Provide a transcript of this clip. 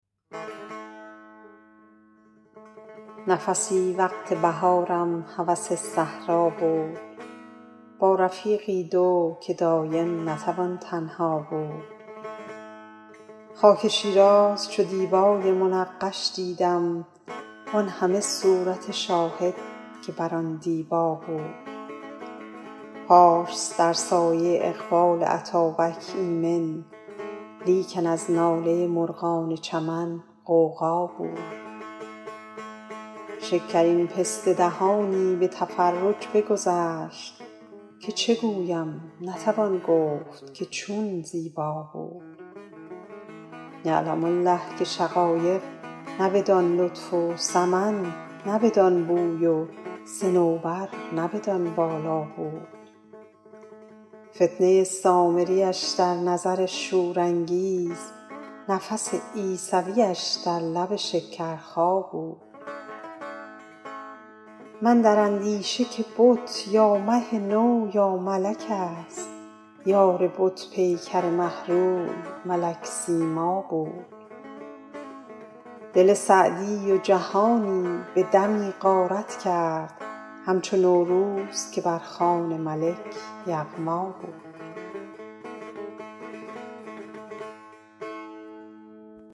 نفسی وقت بهارم هوس صحرا بود با رفیقی دو که دایم نتوان تنها بود خاک شیراز چو دیبای منقش دیدم وان همه صورت شاهد که بر آن دیبا بود پارس در سایه اقبال اتابک ایمن لیکن از ناله مرغان چمن غوغا بود شکرین پسته دهانی به تفرج بگذشت که چه گویم نتوان گفت که چون زیبا بود یعلم الله که شقایق نه بدان لطف و سمن نه بدان بوی و صنوبر نه بدان بالا بود فتنه سامریش در نظر شورانگیز نفس عیسویش در لب شکرخا بود من در اندیشه که بت یا مه نو یا ملک ست یار بت پیکر مه روی ملک سیما بود دل سعدی و جهانی به دمی غارت کرد همچو نوروز که بر خوان ملک یغما بود